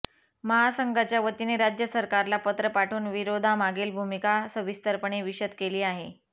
महासंघाच्या वतीने राज्य सरकारला पत्र पाठवून विरोधामागील भूमिका सविस्तरपणे विषद केली आहे